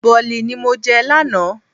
Bọ̀lì ni mo jẹ lánàá.